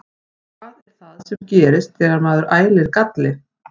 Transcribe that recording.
Hvað er það sem gerist þegar maður ælir galli?